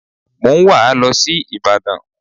Mo ń wà á lọ sí ìbàdàn